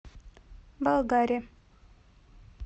болгаре